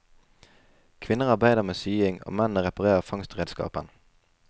Kvinner arbeider med sying og mennene reparerer fangstredskapen.